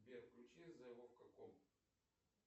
сбер включи зе вовка ком